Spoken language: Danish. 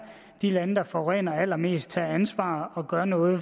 de lande der forurener allermest tager ansvar og gør noget i